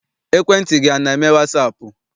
Ekwentị gị ana eme wasaapụ?